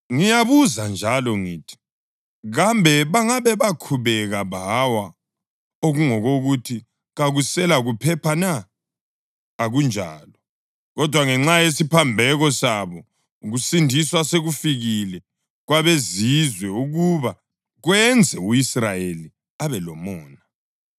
Ngiyabuza njalo ngithi: Kambe bangabe bakhubeka bawa okungangokuthi kakuselakuphepha na? Akunjalo! Kodwa ngenxa yesiphambeko sabo, ukusindiswa sekufikile kwabeZizwe ukuba kwenze u-Israyeli abe lomona.